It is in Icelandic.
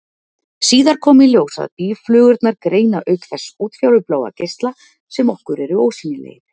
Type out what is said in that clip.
Síðar kom í ljós að býflugurnar greina auk þess útfjólubláa geisla, sem okkur eru ósýnilegir.